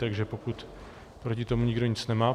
Takže pokud proti tomu nikdo nic nemá...